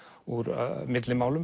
úr